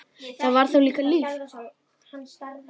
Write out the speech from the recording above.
Það var þá líka líf!